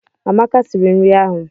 Amaka siri nri ahụ.